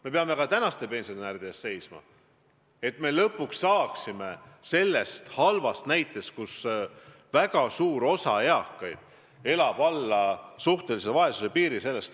Me peame lõpuks pääsema välja sellest halvast seisust, kus väga suur osa eakaid elab alla suhtelise vaesuse piiri.